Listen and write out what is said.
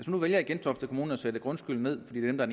nu vælger i gentofte kommune at sætte grundskylden ned fordi den er